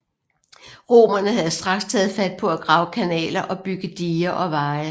Romerne havde straks taget fat på at grave kanaler og bygge diger og veje